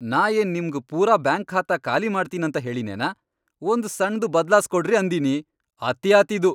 ನಾ ಏನ್ ನಿಮ್ಗ್ ಪೂರಾ ಬ್ಯಾಂಕ್ ಖಾತಾ ಖಾಲಿ ಮಾಡ್ತೀನಂತ ಹೇಳಿನೇನ, ಒಂದ್ ಸಣ್ದು ಬದ್ಲಾಸ್ಕೊಡ್ರಿ ಅಂದಿನಿ! ಅತೀ ಆತ್ ಇದು.